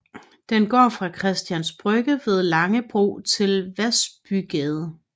Den går fra Christians Brygge ved Langebro til Vasbygade